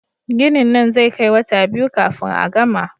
Ginin nan zai kai wata biyu kafin a gama